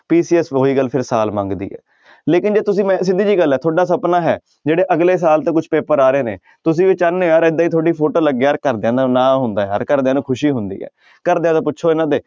PCS ਉਹੀ ਗੱਲ ਫਿਰ ਸਾਲ ਮੰਗਦੀ ਹੈ ਲੇਕਿੰਨ ਜੇ ਤੁਸੀਂ ਮੈਂ ਸਿੱਧੀ ਜਿਹੀ ਗੱਲ ਹੈ ਤੁਹਾਡਾ ਸਪਨਾ ਹੈ ਜਿਹੜੇ ਅਗਲੇ ਸਾਲ ਤੇ ਕੁਛ ਪੇਪਰ ਆ ਰਹੇ ਨੇ ਤੁਸੀਂ ਵੀ ਚਾਹੁਨੇ ਹੋ ਯਾਰ ਏਦਾਂ ਹੀ ਤੁਹਾਡੀ photo ਲੱਗੇ ਯਾਰ ਘਰਦਿਆਂ ਦਾ ਨਾਂ ਹੁੰਦਾ ਯਾਰ ਘਰਦਿਆਂ ਨੂੰ ਖ਼ੁਸ਼ੀ ਹੁੰਦੀ ਹੈ ਘਰਦਿਆਂ ਤੋਂ ਪੁੱਛੋ ਇਹਨਾਂ ਦੇ